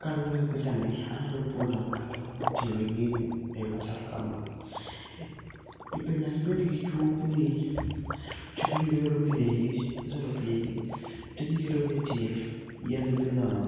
Kaluwore gi pichani, anyalo puonjo ng'ato kakitiyo gi gini e yo machal kama. Ibe nyaki bed gi chupni, chupni go iolo pi e igi, kiseolo pi e igi, tidhi iketogi e tie yien mipidho no.